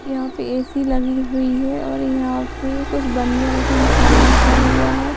यहाँ पे ए.सी लगी हुई है और यहाँ पे कुछ बनिये रखन मे सामान रखा हुआ है।